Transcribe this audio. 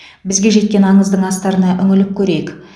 бізге жеткен аңыздың астарына үңіліп көрейік